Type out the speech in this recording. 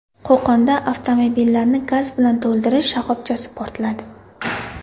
Qo‘qonda avtomobillarni gaz bilan to‘ldirish shoxobchasi portladi.